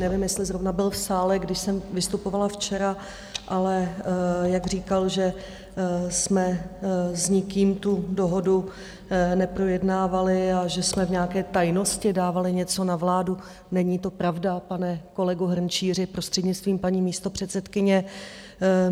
Nevím, jestli zrovna byl v sále, když jsem vystupovala včera, ale jak říkal, že jsme s nikým tu dohodu neprojednávali a že jsme v nějaké tajnosti dávali něco na vládu - není to pravda, pane kolego Hrnčíři, prostřednictvím paní místopředsedkyně.